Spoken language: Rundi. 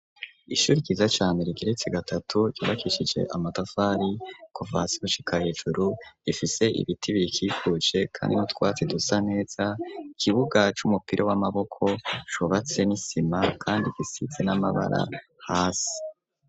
Ishuri ryiza cane rigeretse gatatu, ryubakishije amatafari, kuva hasi gushika hejuru, rifise ibiti birikikuje kandi n'utwatsi dusa neza, ikibuga c'umupira w'amaboko cubatse n'isima kandi gisize n'amabara hasi.